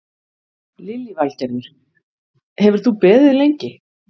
Lillý Valgerður: Hefur þú beðið lengi?